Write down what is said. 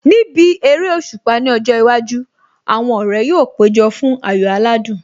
Níbi eréṣùpá ní ọjọ́ iwájú, àwọn ọ̀rẹ́ yóò péjọ fún ayò aládùn